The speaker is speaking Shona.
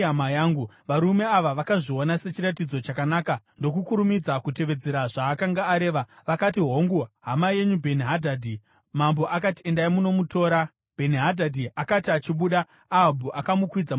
Varume ava vakazviona sechiratidzo chakanaka ndokukurumidza kutevedzera zvaakanga areva. Vakati, “Hongu, hama yenyu Bheni-Hadhadhi!” Mambo akati, “Endai munomutora.” Bheni-Hadhadhi akati achibuda, Ahabhu akamukwidza mungoro yake.